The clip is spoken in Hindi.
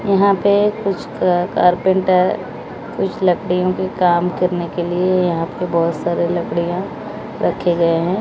यहां पे कुछ अ कारपेंटर कुछ लकड़ियों पे काम करने के लिए यहां पर बहोत सारे लकड़ियां रखे गए हैं।